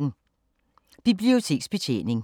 Biblioteksbetjening